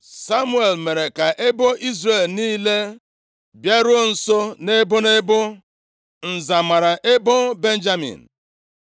Samuel mere ka ebo Izrel niile bịaruo nso nʼebo nʼebo, nza + 10:20 Ọ bụ site na-ịjụta ase nʼUrim na Tumim ka mmadụ ji amata ihe ọ ga-eme. \+xt Ọnụ 27:21; 1Sa 28:6\+xt* mara ebo Benjamin.